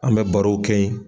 An bɛ barow kɛ ye